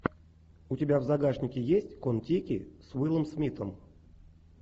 у тебя в загашнике есть контеки с уиллом смитом